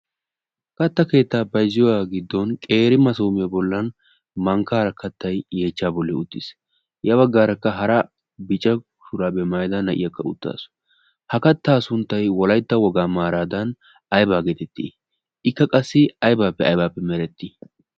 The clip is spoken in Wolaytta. katta keettaa bayzziyaa giddon qeeri masoomiyo bollan mankka harakkattai yeechcha bolli uttiis ya baggaarakka hara bica kshuraa be maaida na'iyakka uttaasu. ha kattaa sunttai wolaytta wogaa maaraadan aybaa geetettii ikka qassi aibaappe aibaappe merettii?